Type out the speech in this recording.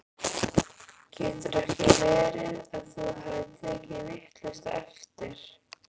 Getur ekki verið að þú hafir tekið vitlaust eftir?